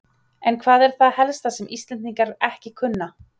En hvað er það helst sem Íslendingar ekki kunna?